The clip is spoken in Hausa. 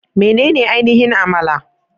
Menene ainihin Amala?